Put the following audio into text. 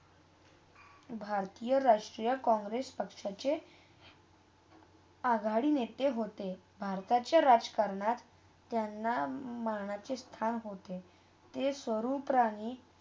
भारतीय राष्ट्रीय कॉंग्रेस पक्षाचे अघाड़ी नेते होते. भारताच्या राजकरणात त्यांना मानाचे स्थान होते. ते स्वरुप प्रणी.